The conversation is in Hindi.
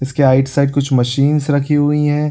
इसके राइट साइड कुछ मशीन्स रखी हुई हैं।